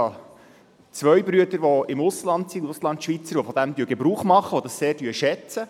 Ich habe zwei Brüder, die im Ausland leben und von dieser Möglichkeit Gebrauch machen und dies sehr schätzen.